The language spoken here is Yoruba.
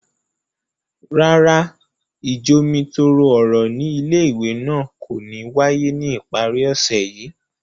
Rárá, ijomitoro ọrọ ni ìlé-ìwé náà ko ni waye ni ipari ọsẹ yii.